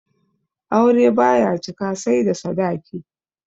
Aure baya cika sai da sadaki